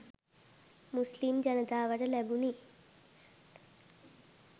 මුස්ලිම් ජනතාවට ලැබුණි